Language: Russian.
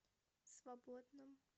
свободном